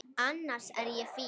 Annars er ég fín.